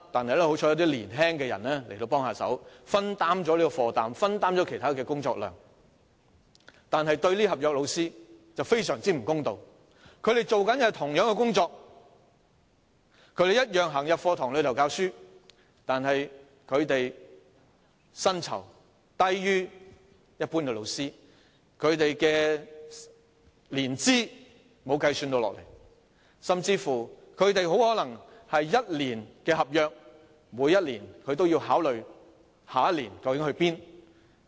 然而，這做法對這些合約教師卻非常不公道，因為他們的工作與一般教師相同，同樣在課室內教書，但薪酬卻低於一般教師，教學年資亦不作計算，甚至可能只獲得1年合約，每年都要考慮下一年究竟何去何從。